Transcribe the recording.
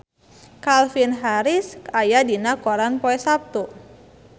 Calvin Harris aya dina koran poe Saptu